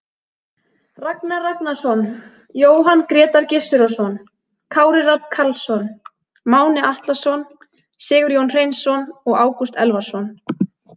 Ragnar Ragnarsson, Jóhann Grétar Gizurarson, Kári Rafn Karlsson, Máni Atlason, Sigurjón Hreinsson og Ágúst Elvarsson.